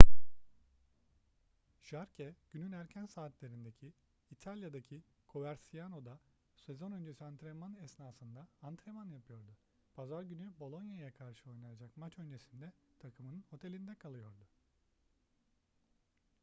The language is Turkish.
jarque günün erken saatlerinde i̇talya'daki coverciano'da sezon öncesi antrenman esnasında antrenman yapıyordu. pazar günü bolonia'ya karşı oynanacak maç öncesinde takımın otelinde kalıyordu